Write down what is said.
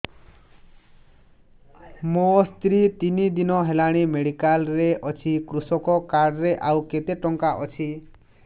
ମୋ ସ୍ତ୍ରୀ ତିନି ଦିନ ହେଲାଣି ମେଡିକାଲ ରେ ଅଛି କୃଷକ କାର୍ଡ ରେ ଆଉ କେତେ ଟଙ୍କା ଅଛି